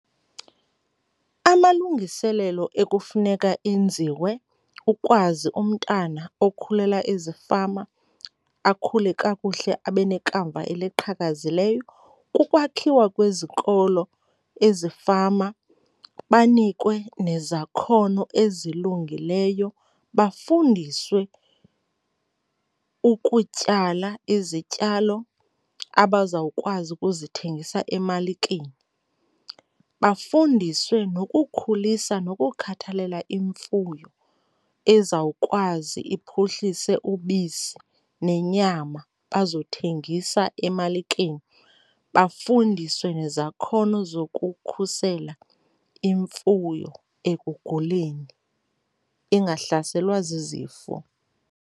Amalungiselelo ekufuneka enziwe ukwazi umntana okhulela ezifama akhule kakuhle abe nekamva eliqhakazileyo kukwakhiwa kwezikolo ezifama, banikwe nezakhono ezilungileyo, bafundiswe ukutyala izityalo abazawukwazi ukuzithengisa emalikeni. Bafundiswe nokukhulisa nokukhathalela imfuyo ezawukwazi iphuhlise ubisi nenyama bazothengisa emalikeni. Bafundiswe nezakhono zokukhusela imfuyo ekuguleni ingahlaselwa zizifo.